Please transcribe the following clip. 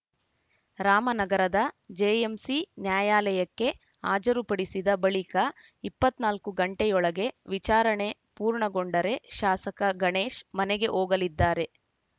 ರಾಮನಗರದ ಜೆಎಂಸಿ ನ್ಯಾಯಾಲಯಕ್ಕೆ ಹಾಜರುಪಡಿಸಿದ ಬಳಿಕ ಇಪ್ಪತ್ತ್ ನಾಲ್ಕು ಗಂಟೆಯೊಳಗೆ ವಿಚಾರಣೆ ಪೂರ್ಣಗೊಂಡರೆ ಶಾಸಕ ಗಣೇಶ್‌ ಮನೆಗೆ ಹೋಗಲಿದ್ದಾರೆ